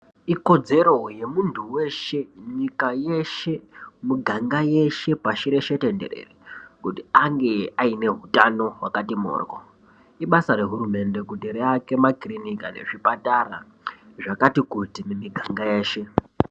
Ikodzero yemuntu weshe, nyika yeshe, miganga yeshe pasireshe tenderere kuti ange aine hutano hwakati mhoryo. Ibasa rehurumende rekuti aake makiriniki anezvipatara zvakati kuti mumiganga yeshe.